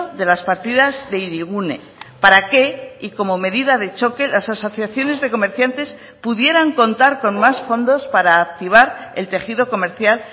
de las partidas de hirigune para que y como medida de choque las asociaciones de comerciantes pudieran contar con más fondos para activar el tejido comercial